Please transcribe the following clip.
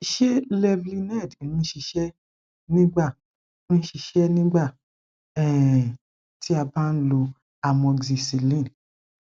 ṣe levlened n ṣiṣẹ nigba n ṣiṣẹ nigba um ti a ba n lo amoxicillin